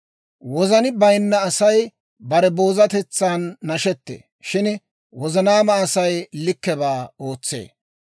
Wozani bayinna Asay bare boozatetsan nashettee; shin wozanaama Asay likkebaa ootsee.